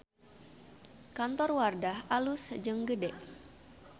Kantor Wardah alus jeung gede